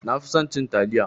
Nafi son cin taliya